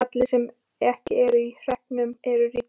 Allir sem ekki eru á hreppnum eru ríkir.